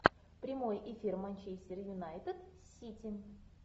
прямой эфир манчестер юнайтед с сити